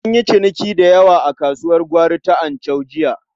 An yi ciniki da yawa a kasuwar gwari ta Anchau jiya.